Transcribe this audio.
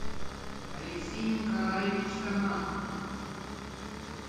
алексей николаевич таман